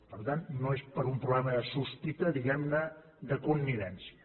per tant no és per un problema de sospita diguem ne de connivència